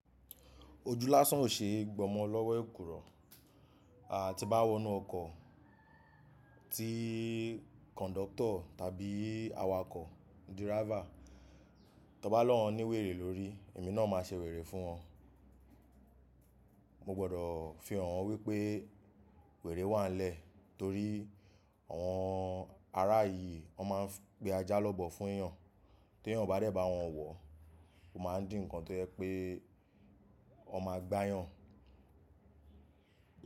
Ojú lásán ò ṣe é gbọmọ lọ́wọ́ èkùrọ́. Àti bá wọnú ọkọ̀ tí kọ̀ńdọ́tọ̀ tàbí awakọ̀ diráfa, tọ bá lọ́hùn ní wèrè lórí, èmi náà máa ṣe wèrè fún wọn. Mo gbọdọ̀ fihàn wípé wèrè wà nlẹ́ẹ̀ torí àwọn ará yìí, wọn máa ń pé ajá lọ́bọ fún èèyàn tí èèyàn bá dẹ bá wọn wọ̀, ó máa ń di ǹkan tó yẹ pé ó máa gbá èèyàn.